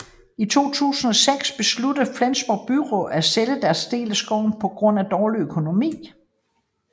I 2006 besluttede Flensborgs byråd at sælge deres del af skoven på grund af dårlig økonomi